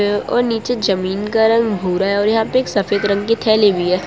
और नीचे जमीन का रंग भूरा है और यहां पे एक सफेद रंग की थैली भी है।